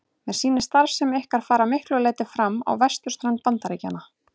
Mér sýnist starfsemi ykkar fara að miklu leyti fram á vesturströnd Bandaríkjanna.